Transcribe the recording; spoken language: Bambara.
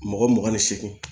Mɔgɔ mugan ni seegin